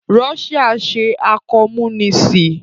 Russia ṣe àkọ́múníìsì